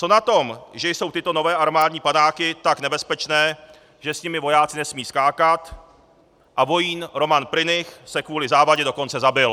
Co na tom, že jsou tyto nové armádní padáky tak nebezpečné, že s nimi vojáci nesmějí skákat, a vojín Roman Prynych se kvůli závadě dokonce zabil?